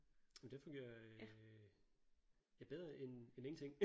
Det fungerer øh ja bedre end end ingenting